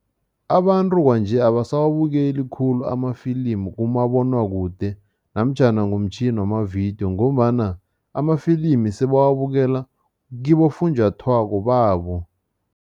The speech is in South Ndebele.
Abantu kwanje abasawabukeli khulu amafilimu kumabonwakude namtjhana ngomtjhini wamavidiyo ngombana amafilimi sebawabukela kibofunjathwako babo.